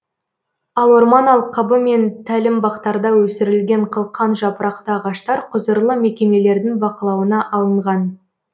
ал орман алқабы мен тәлімбақтарда өсірілген қылқан жапырақты ағаштар құзырлы мекемелердің бақылауына алынған